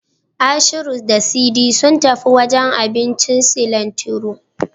Ashiru da Sadi sun tafi wajen abincin Silantiro.